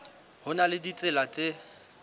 ho na le ditsela tse